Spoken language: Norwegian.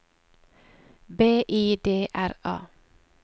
B I D R A